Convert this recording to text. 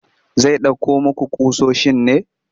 Zai ɗauko muku ƙusoshin ne?